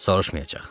Soruşmayacaq.